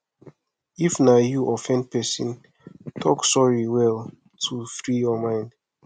if na you offend person talk sorry well to free your mind